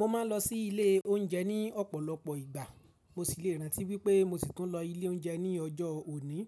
Mo ma n lo sí ilé oúnjẹ ní ọ̀pọ̀lọpọ̀ ìgbà, mo sì le rántí wípé mo sì tún lo ilé oúnjẹ ní ọjọ́ òní.